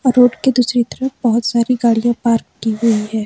Road की दूसरी तरफ बहोत सारी गाड़ियां पार्क की गई हैं।